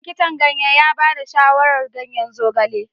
Likitan ganye ya ba da shawarar ganyen zogale.